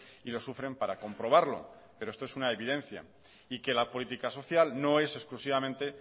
y lo sufren para comprobarlo pero esto es una evidencia y que la política social no es exclusivamente